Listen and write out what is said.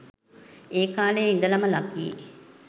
ඒ කාලෙ ඉඳලම ලකී